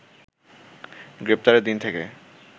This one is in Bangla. গ্রেপ্তারের দিন থেকে